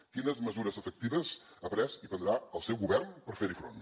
quines mesures efectives ha pres i prendrà el seu govern per fer hi front